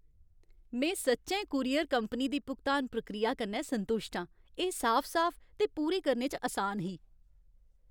में सच्चैं courier company दी भुगतान प्रक्रिया कन्नै संतुश्ट आं। एह् साफ साफ ते पूरी करने च असान ही।